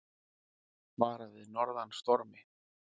Varað við norðan stormi